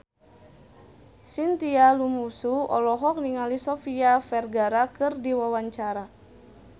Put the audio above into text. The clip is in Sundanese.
Chintya Lamusu olohok ningali Sofia Vergara keur diwawancara